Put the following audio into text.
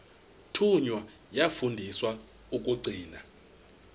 thunywa yafundiswa ukugcina